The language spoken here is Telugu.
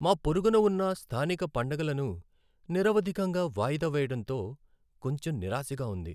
మా పొరుగున ఉన్న స్థానిక పండగలను నిరవధికంగా వాయిదా వేయడంతో కొంచెం నిరాశగా ఉంది.